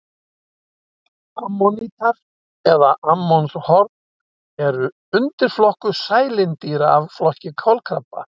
Ammonítar eða ammonshorn er undirflokkur sælindýra af flokki kolkrabba.